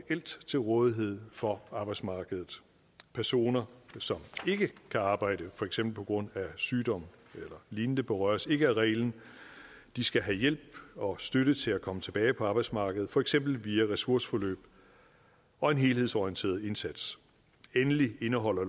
til rådighed for arbejdsmarkedet personer som ikke kan arbejde for eksempel på grund af sygdom eller lignende berøres ikke af reglen de skal have hjælp og støtte til at komme tilbage på arbejdsmarkedet for eksempel via ressourceforløb og en helhedsorienteret indsats endelig indeholder